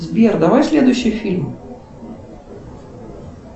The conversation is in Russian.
сбер давай следующий фильм